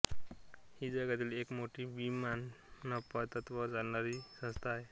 ही जगातील एक मोठी विनानफा तत्वावर चालणारी संस्था आहे